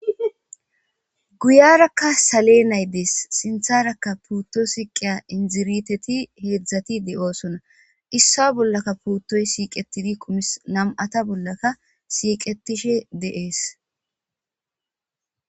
Guyarakka salenay deess sintharakka puutto suqqiya liqaqati heedzdzati de7osona issowa bollaraka puuttoy shiiqettidi dees nam7ata bollaka shiiqettisge dees.